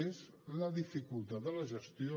és la dificultat de la gestió